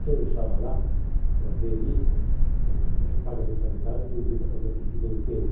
Se eu não estava lá para ver isso, não é que paga mensalidade e tem direito a fazer aquilo que bem entende.